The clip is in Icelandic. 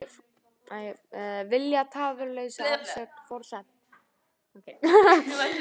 Vilja tafarlausa afsögn forsetans